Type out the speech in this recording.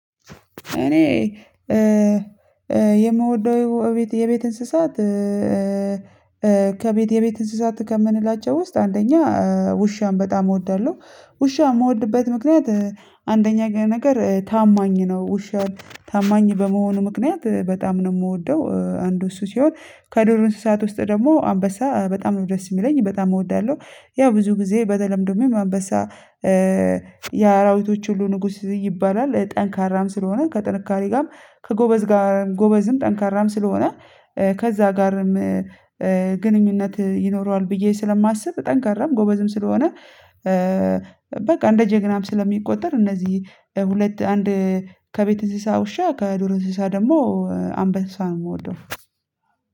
እኔ የምወደው የቤት የቤት እንስሳት ከቤት የቤት እንስሳት ከምንላቸው ውስጥ አንደኛ ውሻን በጣም እወዳለሁ። ውሻ የምወድበት ምክንያት አንደኛ ነገር ታማኝ ነው ውሻን ታማኝ በመሆኑ ምክንያት በጣም ነው የምወደው አንዱ እሱ ሲሆን ከዱር እንስሳት ውስጥ ደግሞ አንበሳ በጣም ነው ደስ የሚለኝ በጣም እወዳለሁ። ያው ብዙ ጊዜ በደተለምዶ ኑኑ አንበሳ የአራዊቶች ሁሉ ንጉስ ይባላል። ጠንካራም ስለሆነ ከጥንካሬ ጋርም ከጎበዝ ጋርም ጎበዝም ጠንካራም ስለሆነ ከዛ ጋርም ግንኙነት ይኖረዋል ብዬ ስለማስብ ጠንካራም ጎበዝም ስለሆነ። በቃ እንደ ጀግናም ስለሚቆጠር እነዚህ ሁለት አንድ ከቤት እንስሳ ውሻ ከዱር እንስሳ ደግሞ አምበሳ ነው የምወደው